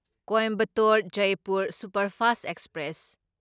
Coimbatore Jaipur superfast express